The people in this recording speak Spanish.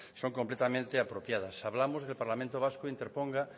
son completamente apropiadas hablamos de que el parlamento vasco interponga